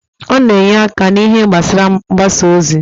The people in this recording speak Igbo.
Ọ na-enye aka n'ihe gbasara mgbasa ozi.